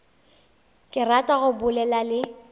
ke rata go bolela le